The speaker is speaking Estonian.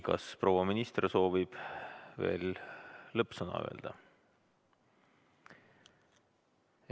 Kas proua minister soovib lõppsõna öelda?